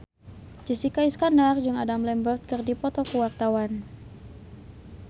Jessica Iskandar jeung Adam Lambert keur dipoto ku wartawan